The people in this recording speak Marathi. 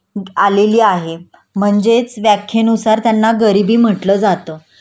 आलेली आहे म्हणजेच व्याख्येनुसार त्यांना गरिबी म्हटलं जातं